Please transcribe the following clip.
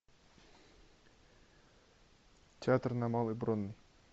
театр на малой бронной